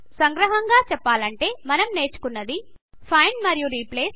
సంగ్రహంగా చెప్పాలంటే మనం నేర్చుకున్నది ఫైండ్ మరియు రీప్లేస్